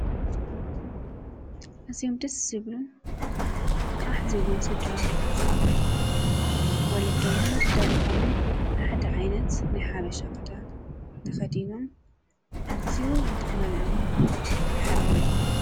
ኣዝዮም ደስ ዝብሉን ቃሕ ዝብሉን ስድራቤት ወለዶምን ደቆምን ሓደ ዓይነት ናይ ሓበሻ ክዳን ተኸዲኖም ኣዝዩ ይጥዕመሎምን የምሕረሎምን።